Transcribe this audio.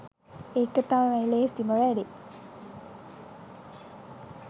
ඒක තමයිලේසිම වැඩේ